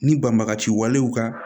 Ni banbagaci walew ka